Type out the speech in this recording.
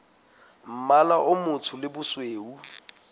mmala o motsho le bosweu